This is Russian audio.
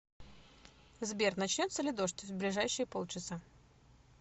сбер начнется ли дождь в ближайшие полчаса